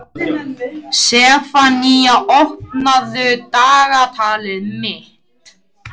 Sefanía, opnaðu dagatalið mitt.